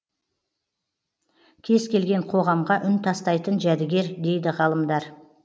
кез келген қоғамға үн тастайтын жәдігер дейд ғалымдар